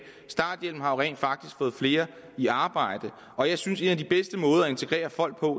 starthjælpen har jo rent faktisk fået flere i arbejde og jeg synes at en af de bedste måder at integrere folk på